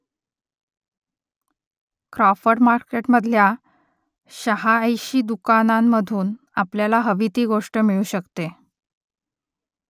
Crawford मार्केटमधल्या शहाऐशी दुकानांमधून आपल्याला हवी ती गोष्ट मिळू शकते